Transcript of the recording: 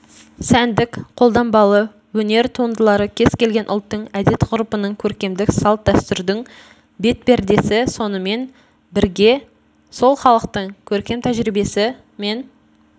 сәндік қолданбалы өнер туындылары кез-келген ұлттың әдет-ғұрыпының көркемдік салт-дәстүрдің бет пердесі сонымен бірге сол халықтың көркем тәжірибесі мен